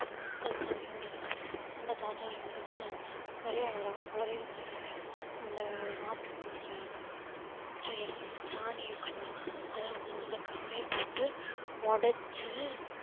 அதுக்காண்டி ஒரு அந்த தாத்தா வந்துட்டு நிறைய உரம் அவரே வந்துட்டு இந்த ஆட்டுப் புழுக்கை, சேரும் சாணி இருக்கும் இல்ல அதை வந்து நல்ல காயப்போட்டு உடைச்சு